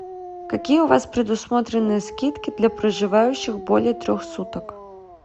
какие у вас предусмотрены скидки для проживающих более трех суток